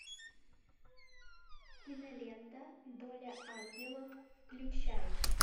кинолента доля ангелов включай